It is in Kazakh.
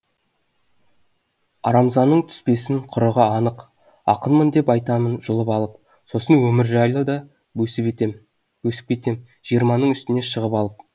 арамзаның түспесін құрығы анық ақынмын деп айтамын жұлып алып сосын өмір жайлы да бөсіп кетем жиырманың үстіне шығып алып